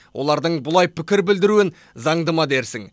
олардың бұлай пікір білдіруін заңды ма дерсің